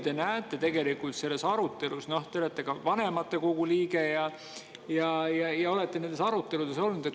Noh, te olete ka vanematekogu liige ja olete nendes aruteludes osalenud.